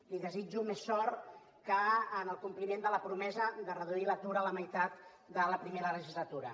li desitjo més sort que en el compliment de la promesa de reduir l’atur a la meitat de la primera legislatura